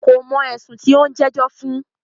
Kò mọ̀ ẹ̀sùn tí o ń jẹ́jọ́ fún.